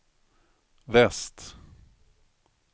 väst